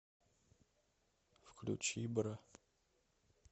включи бра